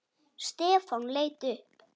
Stefán leit upp.